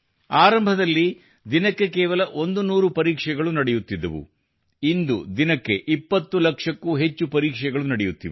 ಆರಂಭದಲ್ಲಿ ದಿನಕ್ಕೆ ಕೇವಲ 100 ಪರೀಕ್ಷೆಗಳು ನಡೆಯುತ್ತಿದ್ದವು ಇಂದು ದಿನಕ್ಕೆ 20 ಲಕ್ಷಕ್ಕೂ ಹೆಚ್ಚು ಪರೀಕ್ಷೆಗಳು ನಡೆಯುತ್ತಿವೆ